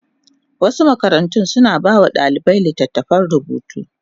Wasu makarantu suna ba wa ɗalibai littattafan rubutu.